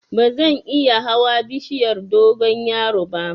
Bazan iya hawa bishiyar dogonyaro ba